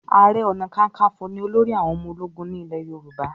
aré ọnà kankanfo ní olórí àwọn ọmọ ológun ní ilè yorùbá